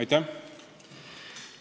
Aitäh!